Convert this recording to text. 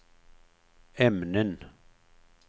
ämnen